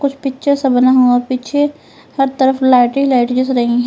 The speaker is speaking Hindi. पिक्चर से बना हुआ पीछे हर तरफ लाइटे हि लाइटे दिख रही है।